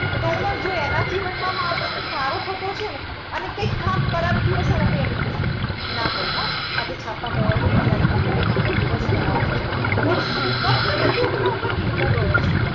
તો તો જો એના જીવનમાં માણસ નું સારું થતું હશે ને અને કઈ કામ ખરાબ થયું હશે ને તો આમ કહેશે કે ના ભઈ હો આજે છાપાંમાં already આઈ ગયું કે મારો દિવસ ખરાબ જશે. પણ શું કામ તમે કોક ના પર નિર્ભર રહો છો?